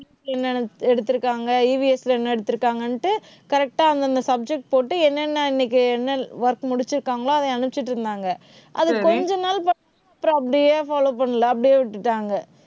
என்னென்ன எடுத்திருக்காங்க EVS ல என்ன எடுத்திருக்காங்கன்னுட்டு, correct அ அந்தந்த subject போட்டு, என்னென்ன இன்னைக்கு என்ன work முடிச்சிருக்காங்களோ, அதை அனுப்பிச்சுட்டு இருந்தாங்க. அது கொஞ்ச நாள் அப்புறம் அப்படியே follow பண்ணலை. அப்படியே விட்டுட்டாங்க